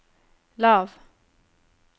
lav